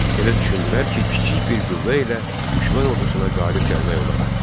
Elə düşündülər ki, kiçik bir qüvvə ilə düşmən ordusuna qalib gəlmək olar.